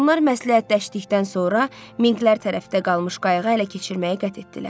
Onlar məsləhətləşdikdən sonra minklər tərəfdə qalmış qayığı ələ keçirməyə qət etdilər.